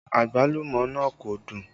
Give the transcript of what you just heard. Àgbálùmọ́ náà kò dùn